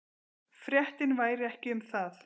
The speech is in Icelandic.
Fréttin væri ekki um það.